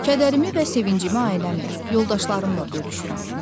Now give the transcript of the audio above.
Kədərimi və sevincimi ailəmlə, yoldaşlarımla bölüşürəm.